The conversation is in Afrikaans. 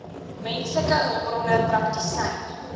menslike hulpbronne praktisyn